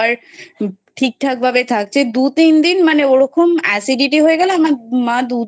Proper ঠিক ঠাক ভাবে থাকছে দু তিন দিন ওরকম acidity হয়ে গেলে আমার মা